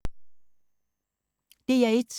DR1